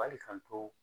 Wali k'an to